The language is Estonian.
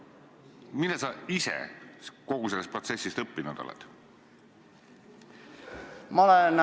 Mida sa ise kogu sellest protsessist õppinud oled?